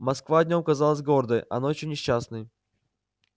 москва днём казалась гордой а ночью несчастной